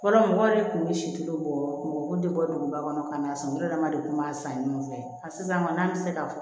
Fɔlɔ mɔgɔw yɛrɛ kun bɛ si kilo bɔko de bɔ duguba kɔnɔ ka na sɔnu dama de tun b'a san ɲɔgɔn fɛ a sisan kɔni n'an ti se ka